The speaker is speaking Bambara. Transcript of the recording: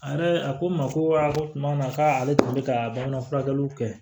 A ne a ko n ma ko a ko tuma min na k'a ale tun bɛ ka bamanan furakɛliw kɛ